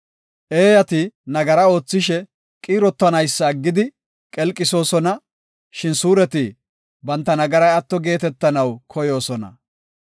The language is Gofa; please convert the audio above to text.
Eeyati nagara oothishe, qiirotanaysa aggidi qelqisoosona; shin suureti banta nagaray atto geetetanaw koyoosona.